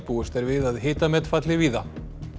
búist er við að hitamet falli víða